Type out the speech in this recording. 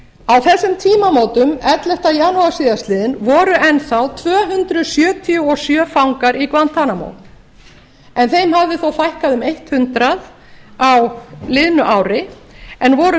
guantanamo á þessum tímamótum ellefta janúar síðastliðinn voru enn þá tvö hundruð sjötíu og sjö fangar í guantanamo en þeim hafði þá fækkað um hundrað á liðnu ári en voru